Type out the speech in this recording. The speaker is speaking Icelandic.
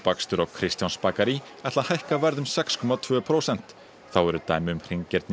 Kristjánsbakari ætli að hækka verð um sex komma tvö prósent þá eru dæmi um